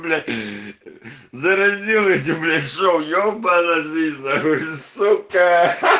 да разделите блять ебанная жизнь сука